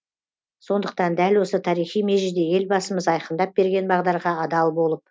сондықтан дәл осы тарихи межеде елбасымыз айқындап берген бағдарға адал болып